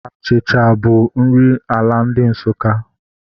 Achịcha bụ nri ala ndị Nsukka